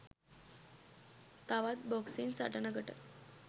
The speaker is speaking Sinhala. තවත් බොක්සින් සටනකට